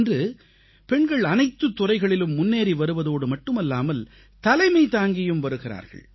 இன்று பெண்கள் அனைத்துத் துறைகளிலும் முன்னேறி வருவதோடு மட்டுமல்லாமல் தலைமை தாங்கியும் வருகிறார்கள்